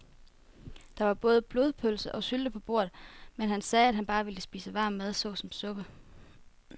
Der var både blodpølse og sylte på bordet, men han sagde, at han bare ville spise varm mad såsom suppe.